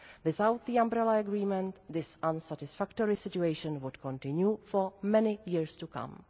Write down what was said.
Without the Umbrella Agreement, this unsatisfactory situation would continue for many years to come.